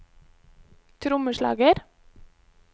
trommeslager